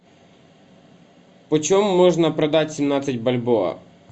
почем можно продать семнадцать бальбоа